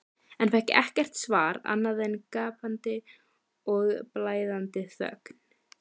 en fékk ekkert svar annað en gapandi og blæðandi þögn.